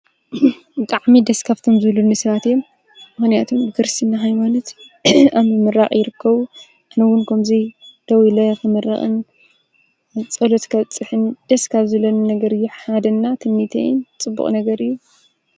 ቃዕሚ ደስካፍቶም ዝብሉ ኒስባትእየ ምሕንያቶም ብክርሲ እና ኃይሞንት ኣምምራቕ ይርከዉ ኣነውን ከምዙይ ደው ኢለይ ኸመራቕን ጸሎት ከብጽሕን ደስካፍ ዘለኒ ነገር ኅሓደና ትሚተይን ጽቡቕ ነገር እዩ